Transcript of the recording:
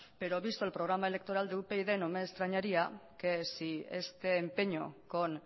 pero visto el programa electoral de upyd no me extrañaría que si este empeño con